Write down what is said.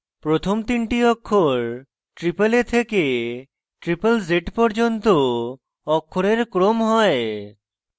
প্রথম তিনটি অক্ষর aaa থেকে zzz পর্যন্ত অক্ষরের ক্রম হয়